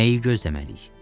Nəyi gözləməliyik?